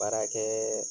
Baarakɛ